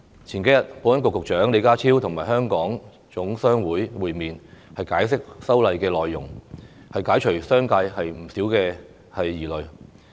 數天前，保安局局長李家超與香港總商會會面，解釋修例內容，釋除了商界不少疑慮。